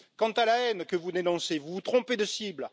Quant à la haine que vous dénoncez, vous vous trompez de cible.